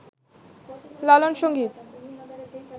লালন সংগীত